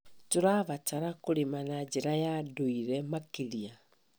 Tũrabatara kũrĩma na njĩra ya ndũire makĩria.